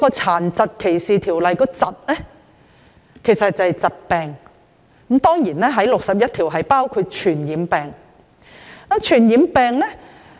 《殘疾歧視條例》中的"疾"是指疾病，而根據第61條還包括傳染病。